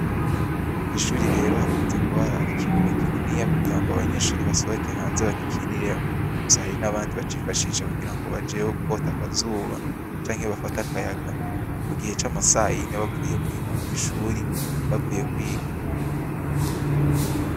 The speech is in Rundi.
Kw'ishuri rero hakunze rero kuba hari ikibuga kininiya kugirango abanyeshure basohoke hanze bagikiniremwo. Gusa hari n'abandi bacifashisha kugirango bajeyo kwota akazuba canke bafate akayaga mugihe camasayine bavuye mw'ishuri bavuye kwiga.